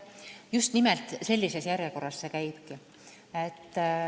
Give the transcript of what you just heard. Just nimelt sellises järjekorras see käibki.